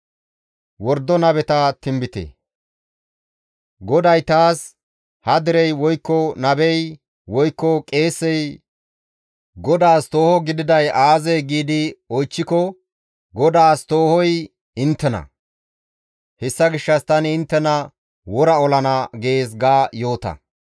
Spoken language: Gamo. GODAY taas, «Ha derey, woykko nabey, woykko qeesey, ‹GODAAS tooho gididay aazee?› giidi oychchiko, ‹GODAAS toohoy inttena; hessa gishshas tani inttena wora olana› gees ga yoota.